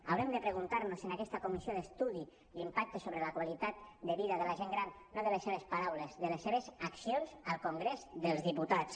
haurem de preguntar nos en aquesta comissió d’estudi l’impacte sobre la qualitat de vida de la gent gran no de les seves paraules de les seves accions al congrés dels diputats